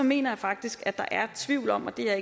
mener jeg faktisk at der er tvivl om og det er